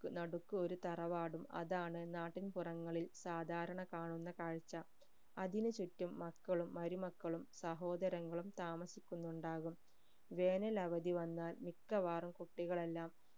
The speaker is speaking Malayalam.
നടുക്ക് ഒരു തറവാടും അതാണ് നാട്ടിൻ പുറങ്ങളിൽ സാധാരണ കാണുന്ന കാഴ്ച അതിനു ചുറ്റും മക്കളും മരുമക്കളും സഹോദരങ്ങളും താമസിക്കുന്നുണ്ടാകും വേനൽ അവധി വന്നാൽ മിക്കവാറും കുട്ടികൾ എല്ലാം